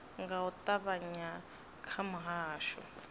nga u ṱavhanya kha muhasho